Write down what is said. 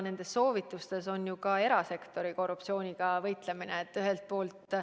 Nendes soovitustes on välja toodud ka erasektori korruptsiooniga võitlemine.